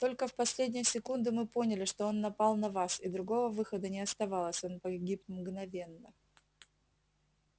только в последнюю секунду мы поняли что он напал на вас и другого выхода не оставалось он погиб мгновенно